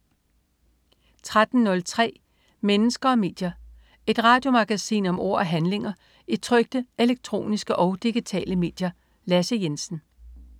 13.03 Mennesker og medier. Et radiomagasin om ord og handlinger i trykte, elektroniske og digitale medier. Lasse Jensen